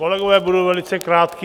Kolegové, budu velice krátký.